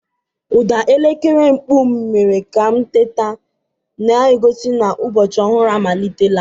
Ụda elekere mkpu m mere ka m teta, na-egosi na ụbọchị ọhụrụ amalitela.